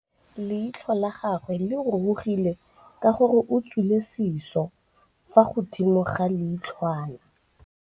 Leitlhô la gagwe le rurugile ka gore o tswile sisô fa godimo ga leitlhwana.